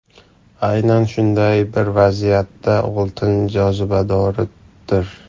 Aynan shunday bir vaziyatda oltin jozibadordir.